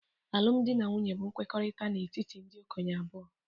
Alụmdi na nwunye bụ nkwekọrịta n'etiti ndị okenye abụọ